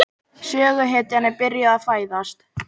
Söguhetjan er byrjuð að fæðast.